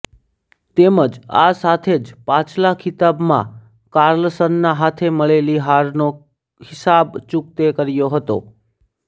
તેમજ આ સાથે જ પાછલા ખિતાબમાં કાર્લસનના હાથે મળેલી હારનો હિસાબ ચૂક્તે કર્યો હતો